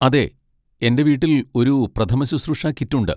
അതെ, എന്റെ വീട്ടിൽ ഒരു പ്രഥമശുശ്രൂഷ കിറ്റ് ഉണ്ട്.